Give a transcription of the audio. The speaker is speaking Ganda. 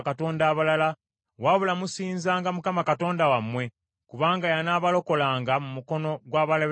Wabula musinzanga Mukama Katonda wammwe, kubanga y’anaabalokolanga mu mukono gw’abalabe bammwe bonna.”